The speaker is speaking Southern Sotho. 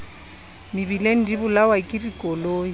mebileng di bolawa ke dikoloi